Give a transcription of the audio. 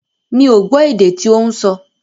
Mi ò gbọ́ èdè tí ó ń sọ.